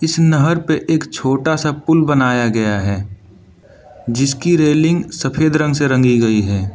नहर पे एक छोटा सा पूल बनाया गया है जिसकी रेलिंग सफेद रंग से रंगी गई है।